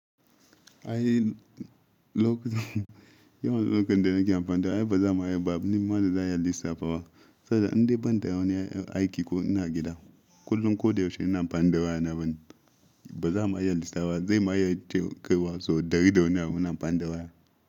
Ai lok yawan lokutan da nake amfani da ai ba za ma yi babba, nim ma da za a yi lissafa ba. Sanda in dai ban da wani aiki ko ina gida, kullum ko da yaushe ina amfani da waya na ban ba. Ba za ma yi lissafa, zai ma ya ce kai wasu dari da wani ina amfani da waya.